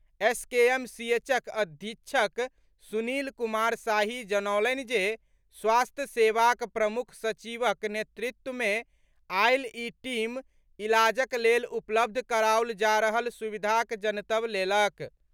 एसकेएमसीएचक अधीक्षक सुनील कुमार शाही जनौलनि जे स्वास्थ्य सेवाक प्रमुख सचिवक नेतृत्व मे आयल ई टीम इलाजक लेल उपलब्ध कराओल जा रहल सुविधाक जनतब लेलक।